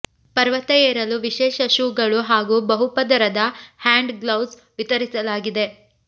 ಪರ್ವತ ಏರಲು ವಿಶೇಷ ಶೂಗಳು ಹಾಗೂ ಬಹು ಪದರದ ಹ್ಯಾಂಡ್ ಗ್ಲೌಸ್ ವಿತರಿಸಲಾಗಿದೆ